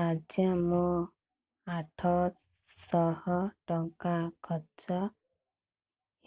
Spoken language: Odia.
ଆଜ୍ଞା ମୋ ଆଠ ସହ ଟଙ୍କା ଖର୍ଚ୍ଚ